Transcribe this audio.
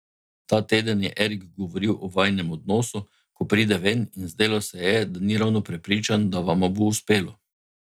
Ta teden je Erik govoril o vajinem odnosu, ko pride ven, in zdelo se je, da ni ravno prepričan, da vama bo uspelo.